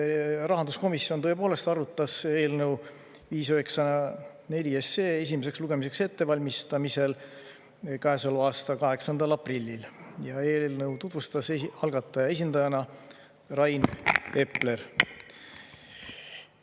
Rahanduskomisjon tõepoolest arutas eelnõu 594 esimeseks lugemiseks ettevalmistamisel käesoleva aasta 8. aprillil ja eelnõu tutvustas algataja esindajana Rain Epler.